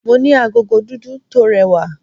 Mo ní agogo dúdú tó rẹwà.